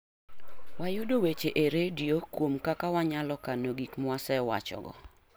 Wayudo weche e redio kuom kaka wanyalo kano gik mwasewachogo